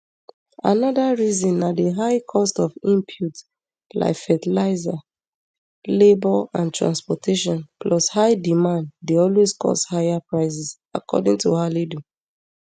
anoda reason na di high cost of inputs like fertilizer labor and transportation plus high demand dey always cause higher prices according to halidu